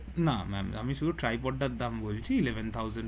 না ম্যাম আমি শুধু ট্রাইপড টার দাম বলছি Eleven thousand পরবে